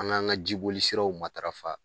An ga an ka jiboli siraw matarafa.